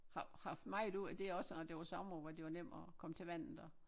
Har haft meget ud af det også når det var sommer hvor det var nemt at komme til vandet og